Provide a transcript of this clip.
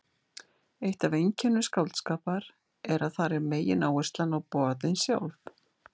eitt af einkennum skáldskapar er að þar er megináherslan á boðin sjálf